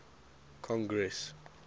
congress